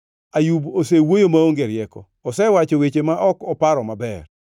‘Ayub osewuoyo maonge rieko; osewacho weche ma ok oparo maber.’